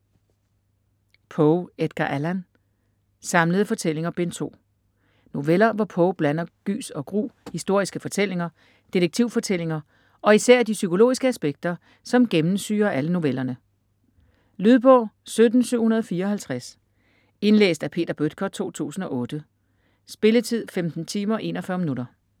Poe, Edgar Allan: Samlede fortællinger: Bind 2 Noveller, hvor Poe blander gys og gru, historiske fortællinger, detektivfortællinger og især de psykologiske aspekter, som gennemsyrer alle novellerne. Lydbog 17754 Indlæst af Peter Bøttger, 2008. Spilletid: 15 timer, 41 minutter.